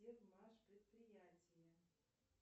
предприятие